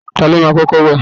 Ta ló máa kọ́kọ́ wẹ̀?